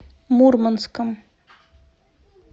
мурманском